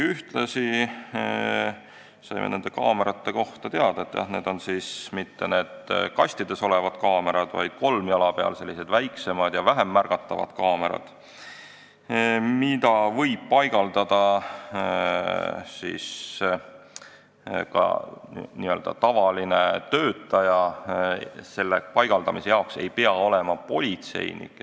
Ühtlasi saime nende kaamerate kohta teada, et need ei ole mitte need kastides olevad kaamerad, vaid kolmjala peal olevad, sellised väiksemad ja vähem märgatavad kaamerad, mida võib paigaldada ka n-ö tavaline töötaja, selle paigaldaja ei pea olema politseinik.